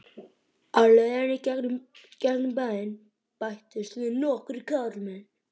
Á leiðinni í gegnum bæinn bættust við nokkrir karlmenn.